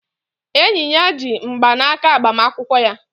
Enyi ya ji mgbanaka agbamakwụkwọ ya.